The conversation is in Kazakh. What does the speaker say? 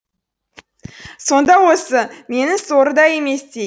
сонда осы менің сорым да еместей